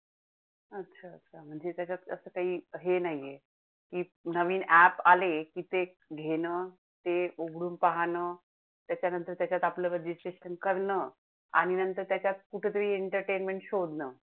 नवीन app आले की ते घेणं, ते उघडून पाहणं त्याच्या नंतर त्याच्यात आपलं regisration करणं आणि नंतर त्याच्यात कुठंतरी entertainment शोधणं.